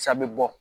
Sa bɛ bɔ